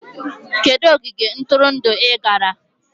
Kedu ogige ntụrụndụ ị gara?